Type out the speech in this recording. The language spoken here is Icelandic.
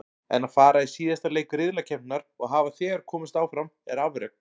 En að fara í síðasta leik riðlakeppninnar og hafa þegar komist áfram er afrek.